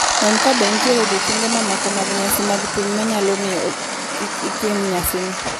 Non kabe nitie odiechienge mamoko mag nyasi mag piny ma nyalo miyo kik itim nyasino.